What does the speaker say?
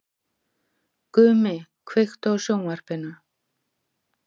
Gumi, kveiktu á sjónvarpinu.